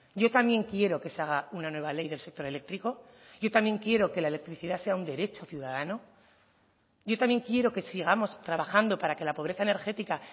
yo también quiero que se haga una nueva ley del sector eléctrico yo también quiero que la electricidad sea un derecho ciudadano yo también quiero que sigamos trabajando para que la pobreza energética